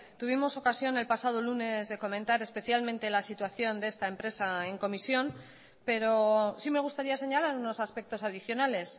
tuvimos ocasión el pasado lunes de comentar especialmente la situación de esta empresa en comisión pero sí me gustaría señalar unos aspectos adicionales